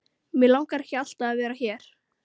Mig langar ekki að vera alltaf hér.